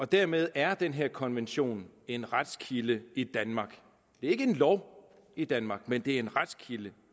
dermed er den her konvention en retskilde i danmark det er ikke en lov i danmark men det er en retskilde